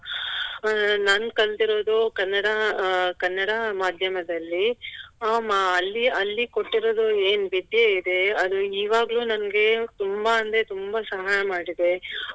ಅಹ್ ನಾನ್ ಕಲ್ತಿರೋದು ಕನ್ನಡ ಅಹ್ ಕನ್ನಡ ಮಾಧ್ಯಮದಲ್ಲಿ. ಹ್ಮ್ ಆಲ್ಲಿ ಅಲ್ಲಿ ಕೊಟ್ಟಿರೋದು ಏನ್ ವಿದ್ಯೆ ಇದೆ ಅದು ಈವಗ್ಲು ನಂಗೆ ತುಂಬ ಅಂದ್ರೆ ತುಂಬಾ ಸಹಾಯ ಮಾಡಿದೆ